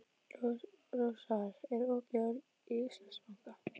Rósar, er opið í Íslandsbanka?